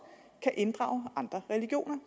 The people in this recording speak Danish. kan inddrage andre religioner